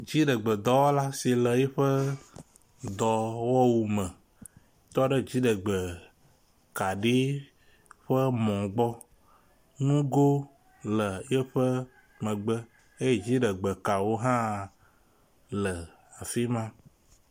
Dziɖegbe dɔwɔla si le eƒe dɔwɔwu me tɔ ɖe dziɖegbe kaɖi ƒe mɔ gbɔ. Nugo le eƒe megbe eye dziɖegbe kawo hã le fi ma.